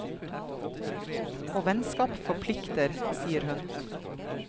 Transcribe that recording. Og vennskap forplikter, sier hun.